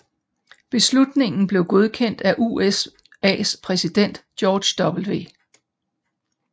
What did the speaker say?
Beslutningen blev godkendt af USAs præsident George W